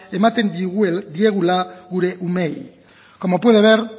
ematen diegula gure umeei como puede ver